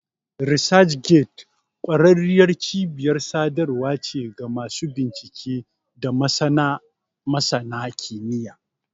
ResearchGate ƙwararriyar cibiyar sadarwa ce ga masu bincike da masana kimiyya.